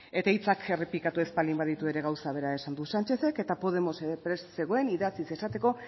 eta hitzak errepikatu ez baldin baditu ere gauza bera esan du sánchezek eta podemosek ere prest zegoen idatziz esateko